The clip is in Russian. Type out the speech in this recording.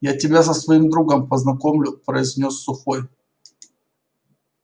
я тебя со своим другом познакомлю произнёс сухой